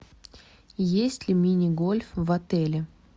есть ли мини гольф в отеле